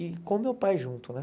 E com meu pai junto, né?